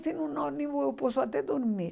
Se no ônibus eu posso até dormir.